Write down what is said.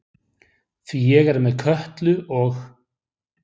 Því ég er með Kötu og